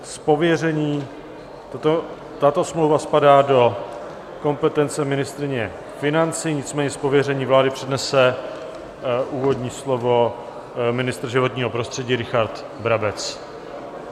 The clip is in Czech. Tato smlouva spadá do kompetence ministryně financí, nicméně z pověření vlády přednese úvodní slovo ministr životního prostředí Richard Brabec.